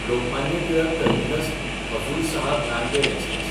Lokmanya Tilak टर्मिनस–हजूर Saheb Nanded express